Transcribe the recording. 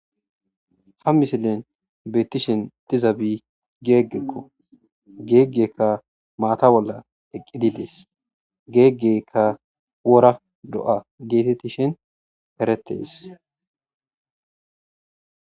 Ha misilen beetishe de'izabi geegeko geegeka maata bolla eqidi de'es geegeka wora do'a geetetizi is eretes.